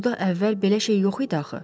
Burda əvvəl belə şey yox idi axı.